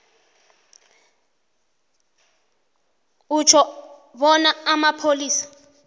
utjho bona amapholisa